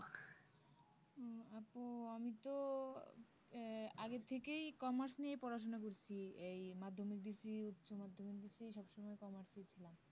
উম আপু আমি তো আগে থেকেই commerce নিয়ে পড়াশুনা করছি এই মাধ্যমিক দিছি উচ্চ মাধ্যমিক দিছি সবসময় commerce এই ছিলাম